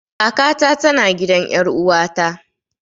Kaka ta tana gidan ƴar uwata